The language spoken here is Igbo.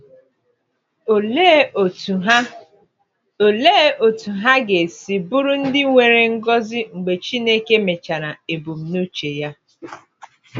“Olee otú ha “Olee otú ha ga-esi bụrụ ndị nwere ngọzi mgbe Chineke mechara ebumnuche ya!”